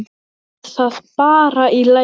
Lilla að Möggu.